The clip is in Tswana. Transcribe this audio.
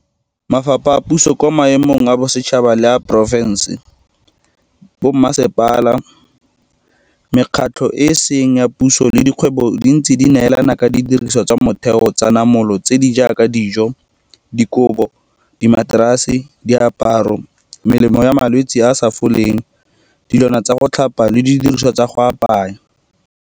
Mafapha a puso kwa maemong a bosetšhaba le a porofense, bommasepala, mekgatlo e e seng ya puso le dikgwebo di ntse di neelana ka didiriswa tsa motheo tsa namolo tse di jaaka dijo, dikobo, dimaterase, diaparo, melemo ya malwetsi a a sa foleng, dilwana tsa go tlhapa le didiriswa tsa go apaya.